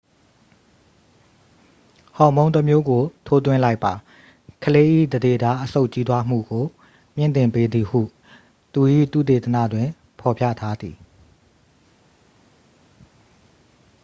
ဟော်မုန်းတစ်မျိုးကို ထိုးသွင်းလိုက်ပါ ကလေး၏ သန္ဓေသား အဆုတ် ကြီးထွားမှုကို မြှင့်တင်ပေးသည်ဟု သူ၏ သုတေသနတွင် ဖော်ပြထားသည်